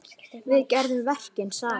Við gerum verkin saman.